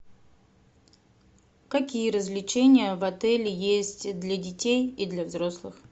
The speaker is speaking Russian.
какие развлечения в отеле есть для детей и для взрослых